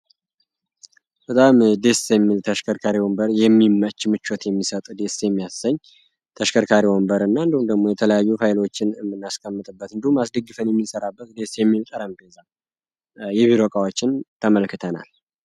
በጣም ደስ የሚል ተሽከርካሪ ወንበር የሚመች ምቾት የሚሰጥ የሚያሰኝ ተሽከርካሪ ወንበር የተለያዩ ኃይሎችን የምናስቀምጥበት ተመልክተናል